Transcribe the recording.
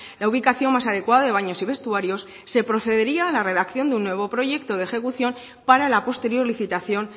la ubicación más adecuada de baños y vestuarios se procedería a la redacción de un nuevo proyecto de ejecución para la posterior licitación